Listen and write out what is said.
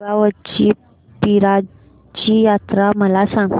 दुगावची पीराची यात्रा मला सांग